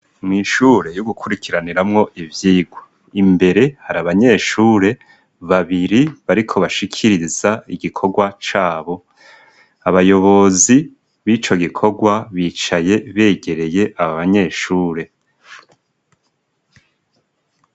Mw' ishure yo gukurikiraniramwo ivyigwa; imbere hari abanyeshure babiri bariko bashikiriza igikorwa cabo. Abayobozi b'ico gikorwa bicaye begereye aba banyeshure.